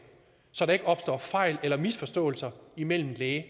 så der ikke opstår fejl eller misforståelser imellem læge